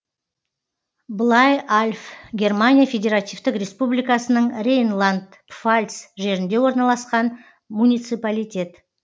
блайальф германия федеративтік республикасының рейнланд пфальц жерінде орналасқан муниципалитет